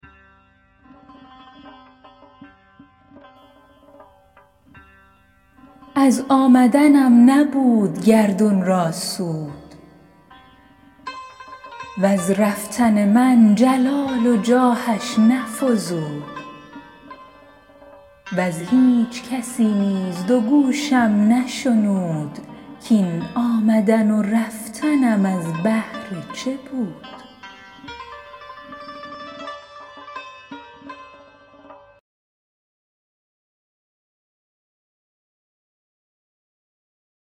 از آمدنم نبود گردون را سود وز رفتن من جلال و جاهش نفزود وز هیچ کسی نیز دو گوشم نشنود کاین آمدن و رفتنم از بهر چه بود